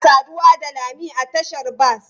Ina saduwa da lami a tashar bas.